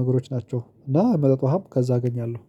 ነገሮች ናቸው። እና መጠጥ ውሃም ከዛ አገኛለሁ